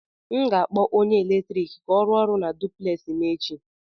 M ga-akpọ onye eletrik ka ọ rụọ ọrụ na duplex m echi